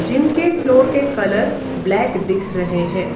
Gym के floor के colour black दिख रहे हैं।